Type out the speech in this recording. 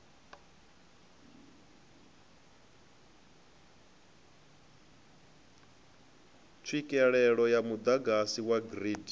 tswikelele ya muḓagasi wa grid